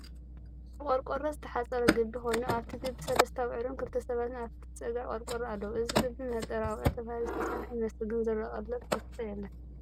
ብቆርቆሮ ዝተሓፀረ ግቢ ኮይኑ ኣብቲ ግቢ ሰለስተ አቡዑርን ክልተ ሰባትን ኣብቲ ፀግዒ ቆርቆሮ ኣለዉ። እዚ ግቢ መህጠሪ አቡዑር ተባሂሉ ዝተሰርሐ ይመስል ግን ዝረአ ቀለብ እንስሳ የለን።